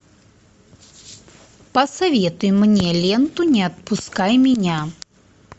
посоветуй мне ленту не отпускай меня